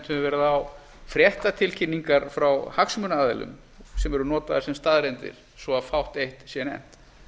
verið á fréttatilkynningar frá hagsmunaaðilum sem eru notaðar sem staðreyndir svo fátt eitt sé nefnt